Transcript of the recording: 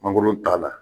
Mangoro t'a la